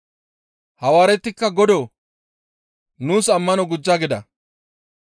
Hawaaretikka, «Godoo! Nuus ammano gujja» gida.